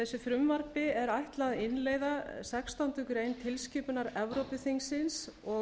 þessu frumvarpi er ætlað að innleiða sextándu grein tilskipunar evrópuþingsins og